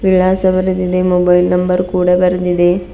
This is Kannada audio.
ವಿಳಾಸ ಬರದಿದೆ ಮೊಬೈಲ್ ನಂಬರ್ ಕೂಡ ಬರೆದಿದೆ.